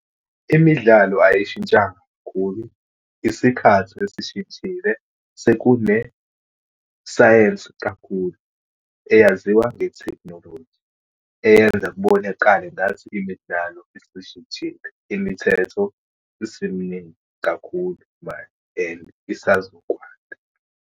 Imidlalo ayishintshanga kakhulu, isikhathi esishintshile. Sekunesayensi kakhulu, eyaziwa ngetekhinologi, eyenza kubonakale ngathi imidlalo isishintshile. Imithetho isiminingi kakhulu manje and isazokwanda.